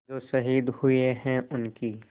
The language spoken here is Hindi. जो शहीद हुए हैं उनकी